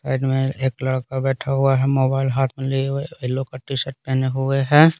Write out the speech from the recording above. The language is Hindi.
साइड में एक लड़का बैठा हुआ है मोबाइल हाथ में लिए हुए येलो का टीशर्ट पहने हुए हैं।